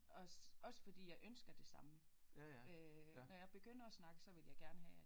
Også også fordi jeg ønsker det samme øh når jeg begynder at snakke så vil jeg gerne have at